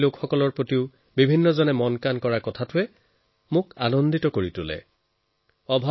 মই আনন্দিত যে যেতিয়া মই দেখো যে মানুহে নিজৰ ওচৰপাজৰৰ অভাৱগ্ৰস্তজনৰ কথাও চিন্তা কৰে